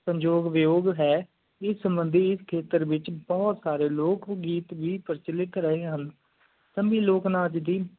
ਸੰਜੋਗ ਵਯੋਗ ਹੈ ਇਸ ਮੰਡੀ ਖਿਤਾਰ ਵਿਚ ਬਹੁਤ ਗੀਤ ਵੀ ਪਰਚੋਲਿਟ ਰਹੀ ਹੁਣ ਸੰਮੀ ਲੋਕ ਨਾਚ ਦੀ